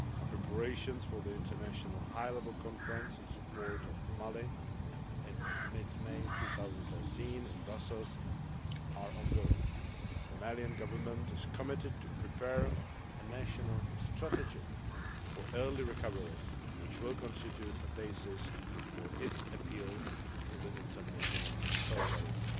Preparations for the international high level conference in support of Mali in mid May 2013 in Brussels are ongoing. The Malian Government is committed to preparing a national strategy for early recovery which will constitute a basis for its appeal to the international solidarity.